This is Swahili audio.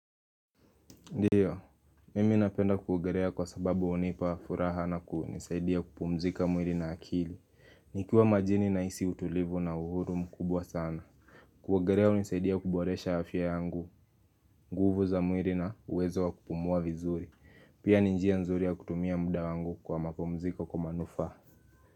Ndiyo, mimi napenda kuogelea kwa sababu hunipa furaha na kunisaidia kupumzika mwili na akili nikiwa majini nahisi utulivu na uhuru mkubwa sana kuogelea hunisaidia kuboresha afya yangu, nguvu za mwili na uwezo wa kupumua vizuri Pia ni njia nzuri ya kutumia muda wangu kwa mapumziko kwa manufaa.